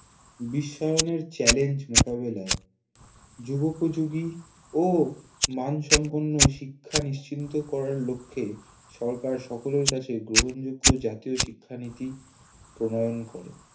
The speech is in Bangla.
বিশ্বায়নের চ্যালেঞ্জ মোকাবেলায় যুগোপযোগী ও মানসম্পন্ন শিক্ষা নিশ্চিন্ত করার লক্ষ্যে সরকার সকলের কাছে গ্রহণযোগ্য জাতীয় শিক্ষানীতি প্রণয়ন করে